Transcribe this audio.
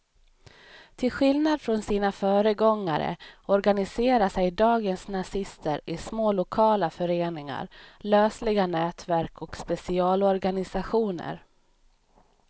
Till skillnad från sina föregångare organiserar sig dagens nazister i små lokala föreningar, lösliga nätverk och specialorganisationer.